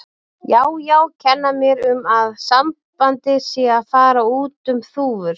Já, já, kenna mér um að sambandið sé að fara út um þúfur.